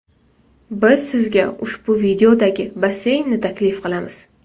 Biz sizga ushbu videodagi basseynni taklif qilamiz!